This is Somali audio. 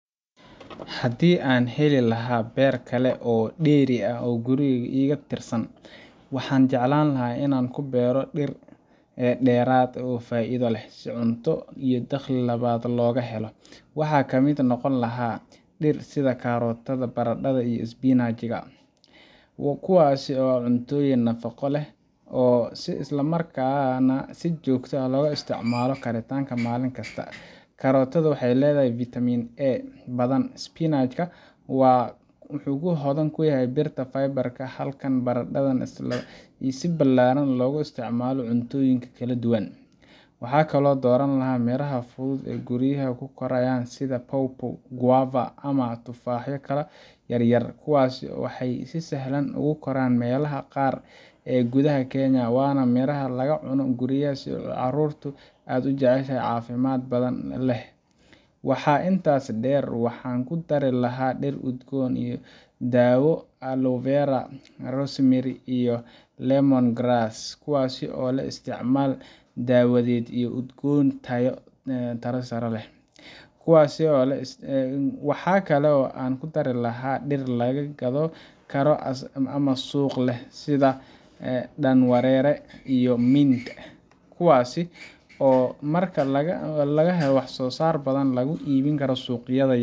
Haddii aan heli lahaa beer kale oo dheeri ah oo guriga iga tirsan, waxaan jeclaan lahaa in aan ku beero dhir dheeraad ah oo faa’iido leh, si cunto iyo dakhli labadaba looga helo. Waxaa kamid noqon lahaa: Dhir sida karootada, barandhada, iyo spinach, kuwaas oo ah cuntooyin nafaqo leh isla markaana si joogto ah loogu isticmaalo karinta maalin kasta. Karootada waxay leedahay fiitamiin A badan, spinach-na waa hodan ku ah birta iyo faybar-ka, halka barandhada ay si ballaaran loogu isticmaalo cuntooyinka kala duwan. Waxaan kaloo dooran lahaa miraha fudud ee guryaha ku koraya sida pawpaw, guava, ama tufaaxyo yar yar. Kuwani waxay si sahlan ugu koraan meelaha qaar ee gudaha Kenya, waana miraha laga cuno guriga iyo carruurtu aad u jeceshahay, caafimaad badanna leh. Waxaa intaas dheer, waxaan ku dari lahaa dhir udgoon iyo daawo sida aloe vera, rosemary, iyo lemongrass, kuwaasoo leh isticmaal daawadeed iyo udgoon cunto ku daris ah. Waxa kale oo aan ku dari lahaa dhir la gado karo ama suuq leh sida dhanweere iyo mint, kuwaasoo marka laga helo wax-soo-saar badan lagu iibin karo suuqyada yaryar